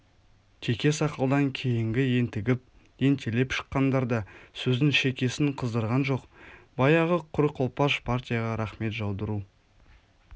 теке сақалдан кейінгі ентігіп ентелеп шыққандар да сөздің шекесін қыздырған жоқ баяғы құр қолпаш партияға рақмет жаудыру